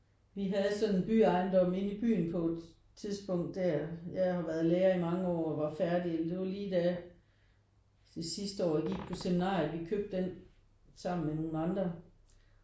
Vi havde sådan en byejendom inde i byen på et tidspunkt der jeg har været lærer i mange år og var færdig. Det var lige da det sidste år jeg gik på seminariet vi købte den sammen med nogle andre